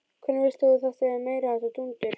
Hvernig veist þú að þetta er meiriháttar dúndur?